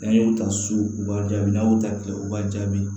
N'an y'o ta so u b'a jaabi n'a y'o ta kɛ o b'a jaabi